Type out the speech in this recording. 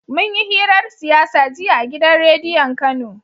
munyi hirar siyasa jiya a gidan rediyon kano